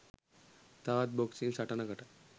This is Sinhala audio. තවත් බොක්සින් සටනකට